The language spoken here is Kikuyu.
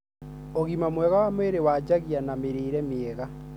ũgima mwega wa mwĩrĩ wanjagia na mĩrĩre miega.